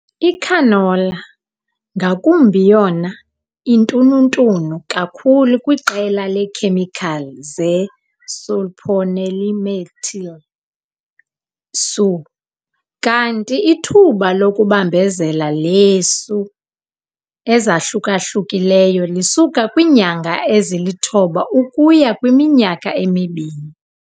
Icanola, ngakumbi yona intununtunu kakhulu kwiqela leekhemikhali ze-sulphonylmethyl, SU, kanti ithuba lokubambezela leeSU ezahluka-hlukileyo lisuka kwiinyanga ezilithoba ukuya kwiminyaka emibini.